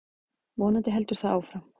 Vonandi heldur það áfram.